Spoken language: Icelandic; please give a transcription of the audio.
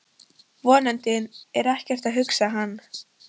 Vonandi er ekkert að, hugsaði hann.